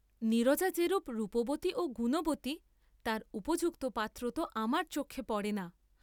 নীরজা যেরূপ রূপবতী ও গুণবতী তার উপযুক্ত পাত্র তো আমার চক্ষে পড়ে না।